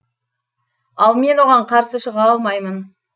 ал мен оған қарсы шыға алмаймын